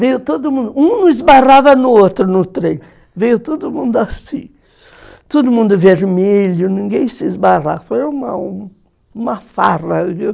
Veio todo mundo, um esbarrava no outro no trem, veio todo mundo assim, todo mundo vermelho, ninguém se esbarrava, foi uma farra, viu?